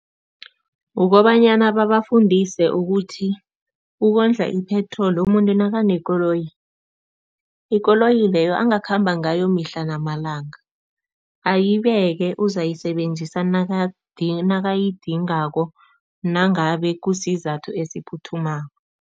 Kukobanyana babafundise ukuthi ukondla ipetroli umuntu nakanekoloyi, ikoloyi leyo angakhamba ngayo mihla namalanga, ayibeke uzayisebenzisa nakayidingako nangabe kusizathu esiphuthumako.